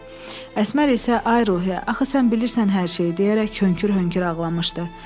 Əsmər isə ay Ruhiyyə, axı sən bilirsən hər şeyi deyərək hönkür-hönkür ağlamışdı.